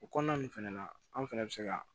O kɔnɔna ninnu fana na an fɛnɛ bɛ se ka